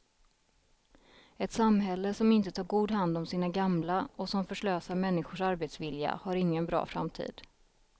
Ett samhälle som inte tar god hand om sina gamla och som förslösar människors arbetsvilja har ingen bra framtid.